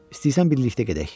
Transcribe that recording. İstəyirsən birlikdə gedək?